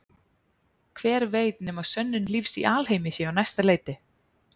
Hver veit nema sönnun lífs í alheimi sé á næsta leiti.